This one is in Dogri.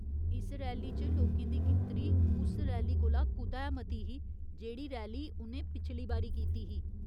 इस रैली च लोकें दी गिनतरी उस रैली कोला कुतै मती ही, जेह्ड़ी रैली उ'नें पिछली बारी कीती ही ।